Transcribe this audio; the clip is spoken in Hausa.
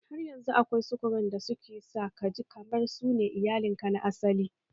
Har yanzu akwai surukan da suke sa kaji kamar su ne iyalin ka na asali